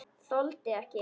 Þoldi ekki.